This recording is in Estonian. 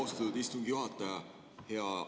Austatud istungi juhataja!